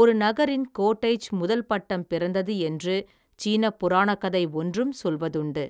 ஒரு நகரின், கோட்டைச் முதல் பட்டம் பிறந்தது என்று சீனப் புராணக்கதை ஒன்றும் சொல்வதுண்டு.